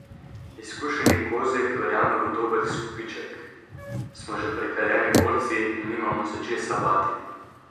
Izkušeni Kozjek verjame v dober izkupiček: "Smo že prekaljeni borci in nimamo se česa bati.